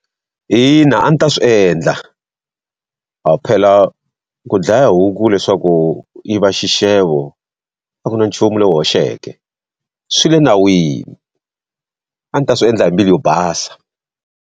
Ina, a ndzi ta swi endla. A phela ku dlaya huku leswaku yi va xixevo, a ku na nchumu lowu hoxeke. Swi le nawini, a ndzi ta swi endla hi mbilu yo basa.